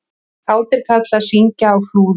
Kátir karlar syngja á Flúðum